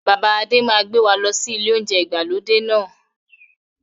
Bàbá Adé máa gbé wá lọ sí ilé oúnjẹ ìgbàlódé náà